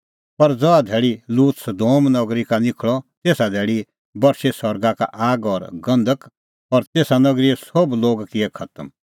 पर ज़हा धैल़ी लूत सदोम नगरी का निखल़अ तेसा धैल़ी बरशी सरगा का आग और गंधक और तेसा नगरीए सोभ लोग किऐ खतम